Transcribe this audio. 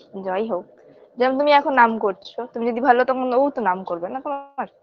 যাইহোক যেমন তুমি এখন নাম করছ তুমি যদি ভালো হও তখন ও তো নাম করবে না তোমার